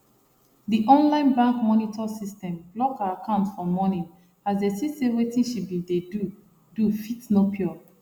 the online bank monitor system block her account for morning as dey see say wetin she been dey do do fit no pure